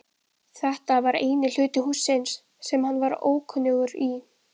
Þetta var eini hluti hússins sem hann var ókunnugur í.